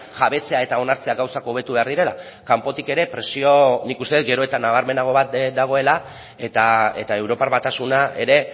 jabetzea eta onartzea gauzak hobetu behar direla kanpotik ere presio nik uste dut gero eta nabarmenago bat dagoela eta europar batasuna ere